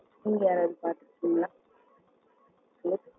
உங்க பாத்துக்குவீங்களா hello